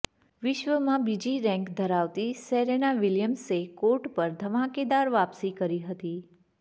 વિશ્વમાં બીજી રેન્ક ધરાવતી સેરેના વિલિયમ્સે કોર્ટ પર ધમાકેદાર વાપસી કરી હતી